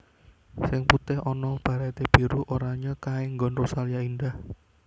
Sing putih ono barete biru oranye kae nggon Rosalia Indah